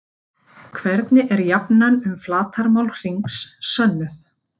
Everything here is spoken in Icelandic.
Hvernig er jafnan um flatarmál hrings sönnuð?